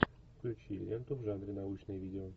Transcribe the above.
включи ленту в жанре научное видео